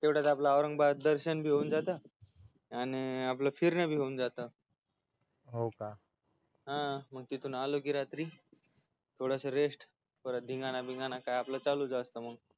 तेवढ्यात आपल औरंगाबाद दर्शन बी होऊन जात आणि आपल फिरण बी होऊन जात हा मग तिथून आलो की रात्री थोडासा rest मग काय धिंगाणा बिंगाणा चालूच असतो मग